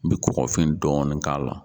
N bɛ kɔgɔfin dɔɔni k'a la.